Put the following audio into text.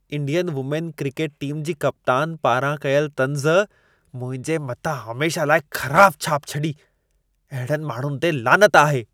Indian women cricket team जी कप्तान पारां कयल तंज़, मुंहिंजे मथां हमेशह लाइ ख़राबु छाप छॾी। अहिड़नि माण्हुनि ते लानत आहे।